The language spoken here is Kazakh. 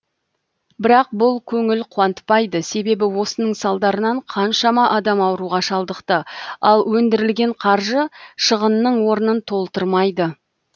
бірақ бұл көңіл қуантпайды себебі осының салдарынан қаншама адам ауруға шалдықты ал өндірілген қаржы шығынның орнын толтырмайды